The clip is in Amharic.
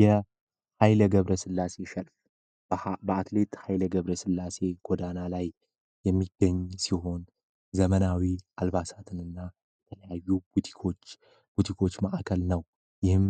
የ ሃይለ ገብረ ስላሴ ሸልፍ በአትሌት ኀይለ ገብረ ስላሴ ጐዳና ላይ የሚገኝ ሲሆን ዘመናዊ አልባሳትን ና የተለያዩ ቡቲኮች ማዕከል ነው። ይህም